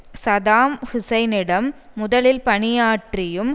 Saddam ஹூசைனிடம் முதலில் பணியாற்றியும்